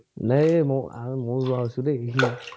নাই এই ময়ো যোৱা হৈছো দেই